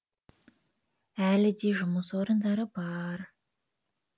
әлі де жмыс орындары бар